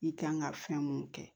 I kan ka fɛn mun kɛ